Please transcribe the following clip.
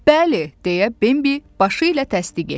Bəli, deyə Bembi başı ilə təsdiq etdi.